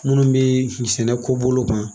Minnu bɛ sɛnɛ ko bolo kan